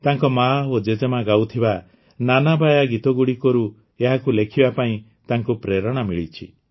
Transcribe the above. ତାଙ୍କ ମାଆ ଓ ଜେଜେମା ଗାଉଥିବା ନାନାବାୟା ଗୀତଗୁଡ଼ିକରୁ ଏହାକୁ ଲେଖିବା ପାଇଁ ତାଙ୍କୁ ପ୍ରେରଣା ମିଳିଛି